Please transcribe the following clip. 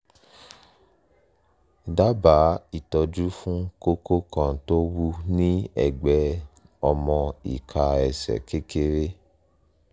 dábàá ìtọ́jú fún kókó kan tó wú ní ẹ̀gbẹ́ ọmọ ìka ẹsẹ̀ kékeré